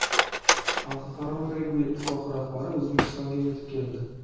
Xalqaro regbi ittifoqi rahbari O‘zbekistonga yetib keldi.